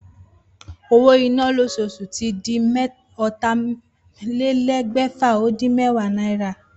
Owó iná lósoosù tí di ótàlélégbèfà- ó-dín- méwàá náírà